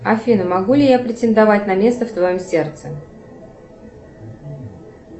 афина могу ли я претендовать на место в твоем сердце